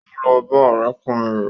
Ó lọ bá ọ̀rẹ́kùnrin rẹ̀